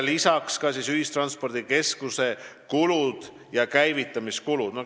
Lisaks tulevad ühistranspordikeskuse kulud ja käivitamiskulud.